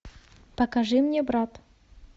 покажи мне брат